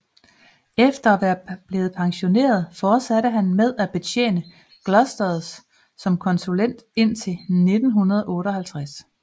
Efter at være blevet pensioneret fortsatte han med at betjene Glosters som konsulent indtil 1958